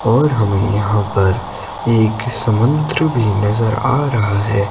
और हमें यहां पर एक समंदर भी नजर आ रहा है।